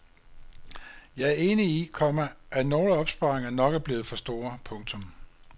Jeg er enig i, komma at nogle opsparinger nok er blevet for store. punktum